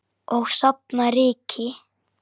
Og safna ryki.